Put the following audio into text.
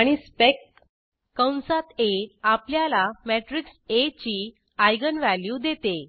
आणि स्पेक कंसात आ आपल्याला मॅट्रिक्स आ ची आयजेन व्हॅल्यू देते